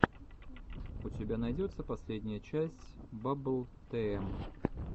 у тебя найдется последняя часть баббл тм